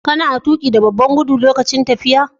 Kana tuƙi da babban gudu lokacin tafiya.?